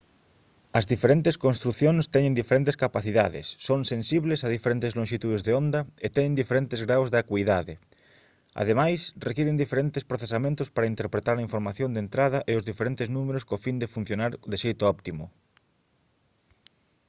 as diferentes construcións teñen diferentes capacidades son sensibles a diferentes lonxitudes de onda e teñen diferentes graos de acuidade ademais requiren diferentes procesamentos para interpretar a información de entrada e os diferentes números co fin de funcionar de xeito óptimo